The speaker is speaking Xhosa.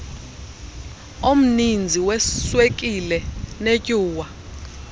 omninzi weswekile netyuwa